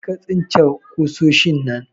Karka tsince kusoshin nan!